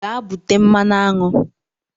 Gaa bute mmanụ aṅụ